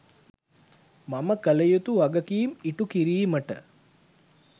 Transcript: මම කළ යුතු වගකීම ඉටු කිරීමට